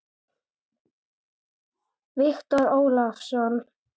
Viktor Ólason.